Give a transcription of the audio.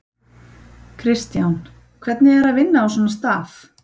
Kristján: Hvernig er að vinna á svona stað?